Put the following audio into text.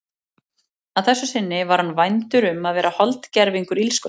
Að þessu sinni var hann vændur um að vera holdgervingur illskunnar.